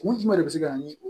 Kun jumɛn de bɛ se ka na ni